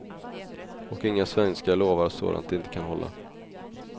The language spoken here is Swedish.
Och inga svenskar lovar sådant de inte kan hålla.